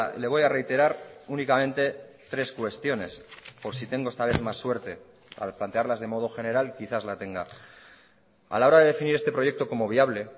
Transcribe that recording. le voy a reiterar únicamente tres cuestiones por si tengo esta vez más suerte al plantearlas de modo general quizás la tenga a la hora de definir este proyecto como viable